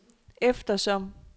eftersom